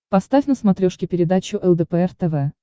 поставь на смотрешке передачу лдпр тв